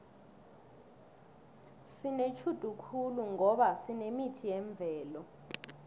sinetjhudu khulu ngoba sinemithi yemvelo